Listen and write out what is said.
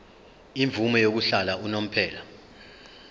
imvume yokuhlala unomphela